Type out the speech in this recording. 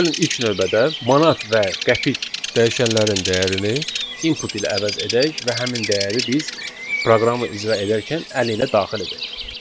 Gəlin ilk növbədə manat və qəpik dəyişənlərinin dəyərini input ilə əvəz edək və həmin dəyəri biz proqramı icra edərkən əllə daxil edək.